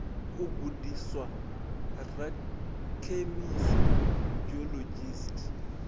u gudiswa sa rakhemisi geologist